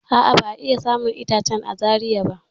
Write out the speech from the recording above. A'a, ba'a iya samun itacen a Zaria.